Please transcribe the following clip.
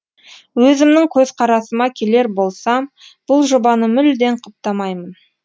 өзімнің көзқарасыма келер болсам бұл жобаны мүлдем құптамаймын